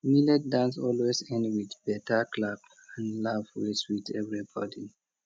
millet dance always end with better clap and laugh wey sweet everybody